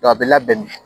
A bɛ labɛn